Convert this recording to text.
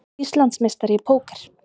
Íslandsmeistari í póker